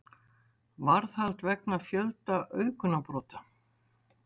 Varðhald vegna fjölda auðgunarbrota